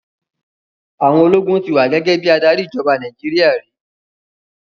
Àwọn ológun ti wà gẹ́gẹ́ bí adarí ìjọba Nàìjíríà rí.